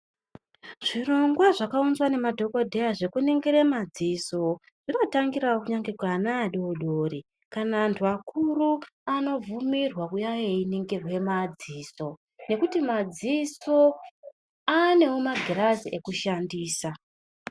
Zvirongwa zvakaunzwa ngemadhogodheya zvokuningire madziso. Zvinotangiravo kunyange kuana adodori kana antu akuru anobvumirwa kuuya einingirwa madziso. Nekuti madziso anevo magirazi ekushandisa.